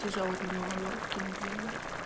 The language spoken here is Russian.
тяжёлый для неё момент кинули её